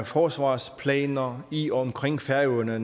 forsvarsplaner i og omkring færøerne